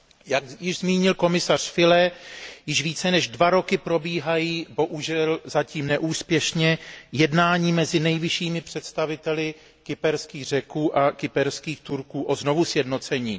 Jak zmínil komisař Füle, již více než dva roky probíhají, zatím neúspěšně, jednání mezi nejvyššími představiteli kyperský Řeků a kyperských Turků o znovusjednocení.